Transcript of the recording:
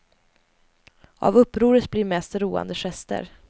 Av upproret blir mest roande gester.